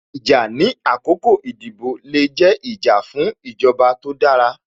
Ìjà ní àkọ́kọ́ ìdìbò le jẹ́, ìjà fún ìjọba tó dára